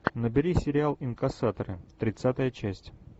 набери сериал инкассаторы тридцатая часть